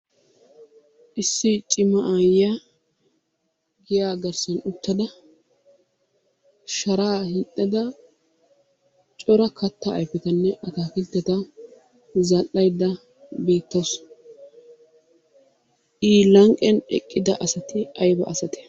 Issi cimma aayiya giyaa garssan uttada sharaa hiixxada cora kataa ayfetanne ataakiltetta zal'aydda beetawusu. I lanqqiyan eqqida asati aybba asatee?